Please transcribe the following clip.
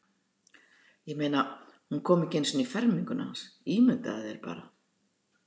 Ég meina, hún kom ekki einu sinni í ferminguna hans, ímyndaðu þér bara.